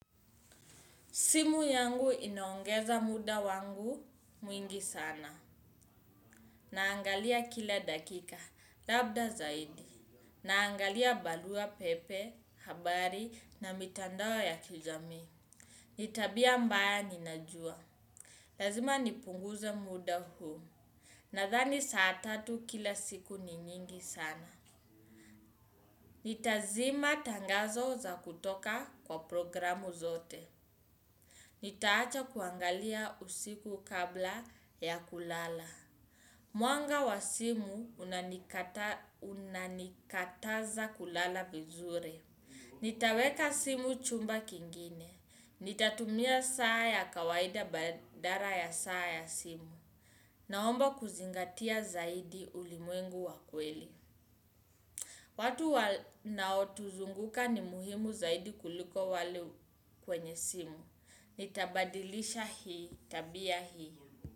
Simu yangu inaongeza muda wangu mwingi sana. Naangalia kila dakika, labda zaidi. Naangalia barua pepe, habari na mitandao ya kijamii. Ni tabia mbaya ninajua. Lazima nipunguze muda huu. Nadhani saa tatu kila siku ni nyingi sana. Nitazima tangazo za kutoka kwa programu zote. Nitaacha kuangalia usiku kabla ya kulala. Mwanga wa simu unanikataza kulala vizuri. Nitaweka simu chumba kingine. Nitatumia saa ya kawaida badala ya saa ya simu. Naomba kuzingatia zaidi ulimwengu wa kweli. Watu wanao tuzunguka ni muhimu zaidi kuliko wale kwenye simu. Nitabadilisha hii, tabia hii.